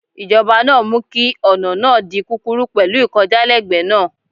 Ìjọba náà mú kí ọ̀nà náà di kúkúrú pẹ̀lú ìkọjálẹ́gbẹ̀ẹ́ náà.